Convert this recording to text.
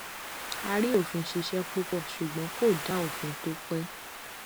a rí òfin ṣíṣe púpọ ṣùgbọn kò dá òfin tó pé